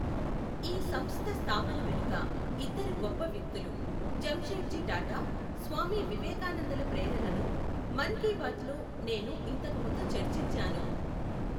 ఈ సంస్థ స్థాపన వెనుక ఇద్దరు గొప్ప వ్యక్తులు, జంషెడ్జీ టాటా, స్వామి వివేకానందల ప్రేరణను మన్ కీ బాత్ లో నేను ఇంతకుముందు చర్చించాను.